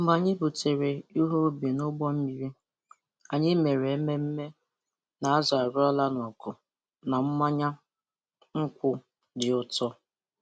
Mgbe anyị butere ihe ubi n'ụgbọ mmiri, anyị mere ememme na azụ a roara n'ọkụ na mmanya nkwụ dị ụtọ.